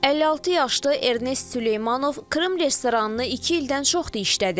56 yaşlı Ernest Süleymanov Krım restoranını iki ildən çoxdur işlədir.